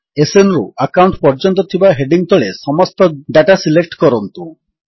SNରୁ account ପର୍ଯ୍ୟନ୍ତ ଥିବା heading ତଳେ ସମସ୍ତ ଡାଟା ସିଲେକ୍ଟ କରନ୍ତୁ